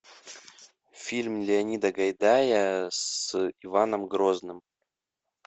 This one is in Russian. фильм леонида гайдая с иваном грозным